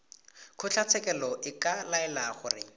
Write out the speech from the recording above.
kgotlatshekelo e ka laela gore